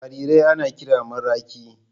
jarirai ana kiran maraƙi.